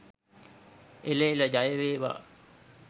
එළ එළ ජය වේවා!.